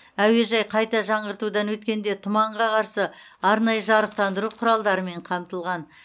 әуежай қайта жаңғыртудан өткенде тұманға қарсы арнайы жарықтандыру құралдарымен қамтылған